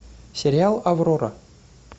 сериал аврора